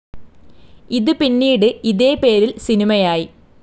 ഇത് പിന്നീട് ഇതേ പേരിൽ സിനിമയായി.